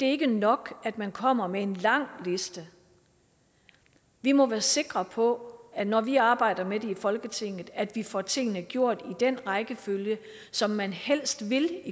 ikke nok at man kommer med en lang liste vi må være sikre på når vi arbejder med det i folketinget at vi får tingene gjort i den rækkefølge som man helst vil